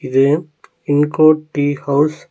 இது pin code tea house .